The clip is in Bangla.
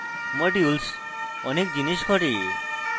modules অনেক জিনিস করে